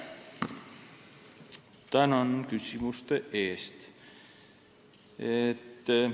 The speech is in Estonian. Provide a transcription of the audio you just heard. Tänan küsimuste eest!